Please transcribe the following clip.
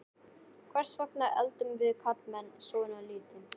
Hvers vegna eldum við karlmenn svona lítið?